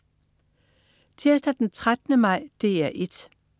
Tirsdag den 13. maj - DR 1: